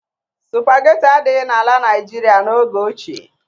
Sụpageti adịghị n'ala Naịjirịa n'oge ochie.